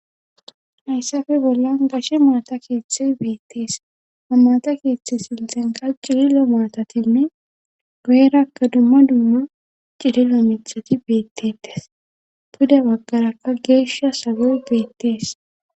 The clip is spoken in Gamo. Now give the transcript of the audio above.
Hayssafe bollan gashe maata keeththe beettees amaata keeththe siltxenka ciri lo maatatinne goerakka dumma dumma cili lo mithati beettetes puda baggarakka geeshsha sagoy beettees.